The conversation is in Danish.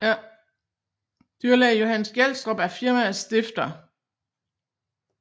Dyrlæge Johannes Gjelstrup er firmaets stifter